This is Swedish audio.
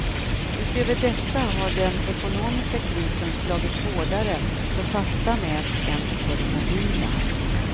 Utöver detta har den ekonomiska krisen slagit hårdare för fasta nät än för de mobila.